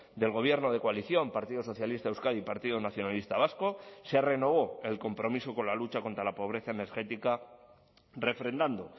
del gobierno de coalición partido socialista de euskadi y partido nacionalista vasco se renovó el compromiso con la lucha contra la pobreza energética refrendando